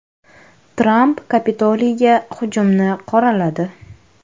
Tramp Kapitoliyga hujumni qoraladi.